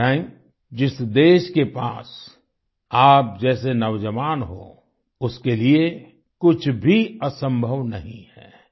इब्राहिम जिस देश के पास आप जैसे नौजवान हो उसके लिए कुछ भी असंभव नहीं है